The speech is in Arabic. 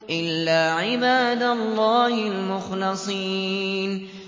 إِلَّا عِبَادَ اللَّهِ الْمُخْلَصِينَ